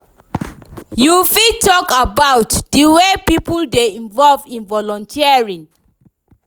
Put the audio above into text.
You fit talk about di way people dey involve in volunteering?